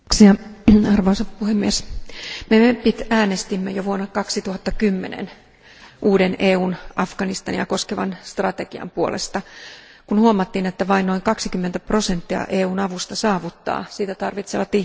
Arvoisa puhemies, me MEPit äänestimme jo vuonna 2010 uuden EUn Afganistania koskevan strategian puolesta, kun huomattiin, että vain noin 20 prosenttia EUn avusta saavuttaa sitä tarvitsevat ihmiset.